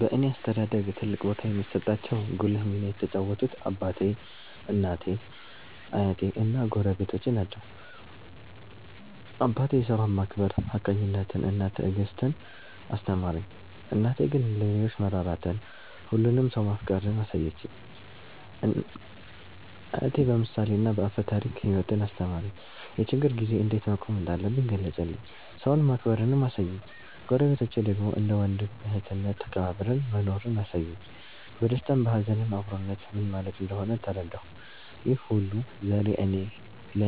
በእኔ አስተዳደግ ትልቅ ቦታ የሚሰጣቸው ጉልህ ሚና የተጫወቱት አባቴ፣ እናቴ፣ አያቴ እና ጎረቤቶቼ ናቸው። አባቴ ሥራን ማክበር፣ ሀቀኝነትን እና ትዕግስትን አስተማረኝ። እናቴ ግን ለሌሎች መራራትን፣ ሁሉንም ሰው ማፍቀርን አሳየችኝ። አያቴ በምሳሌና በአፈ ታሪክ ሕይወትን አስተማረኝ፤ የችግር ጊዜ እንዴት መቆም እንዳለብኝ ገለጸልኝ፤ ሰውን ማክበርንም አሳየኝ። ጎረቤቶቼ ደግሞ እንደ ወንድም እህትነት ተከባብረን መኖርን አሳዩኝ፤ በደስታም በሀዘንም አብሮነት ምን ማለት እንደሆነ ተረዳሁ። ይህ ሁሉ ዛሬ እኔ